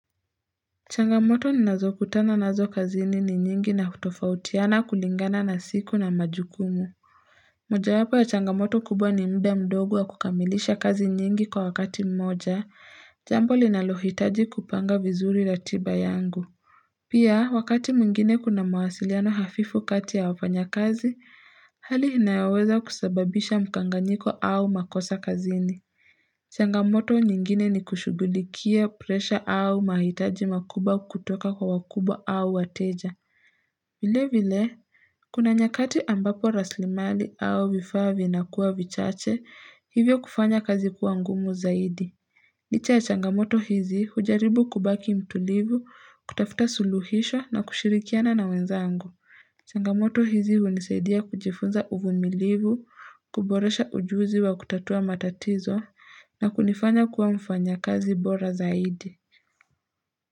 Changamoto ni nazokutana nazo kazini ni nyingi na hutofautiana kulingana na siku na majukumu. Mojawapo ya changamoto kubwa ni mda mdogo wa kukamilisha kazi nyingi kwa wakati mmoja, jambo linalohitaji kupanga vizuri ratiba yangu. Pia, wakati mwingine kuna mawasiliano hafifu kati ya wafanyakazi, hali inayoweza kusababisha mkanganyiko au makosa kazini. Changamoto nyingine ni kushugulikia presha au mahitaji makuba kutoka kwa wakubwa au wateja Vilevile, kuna nyakati ambapo raslimali au vifaa vinakuwa vichache, hivyo kufanya kazi kuangumu zaidi Licha ya changamoto hizi hujaribu kubaki mtulivu, kutafuta suluhisho na kushirikiana na wenzangu changamoto hizi hunisaidia kujifunza uvumilivu, kuboresha ujuzi wa kutatua matatizo na kunifanya kuwa mfanyakazi bora zaidi.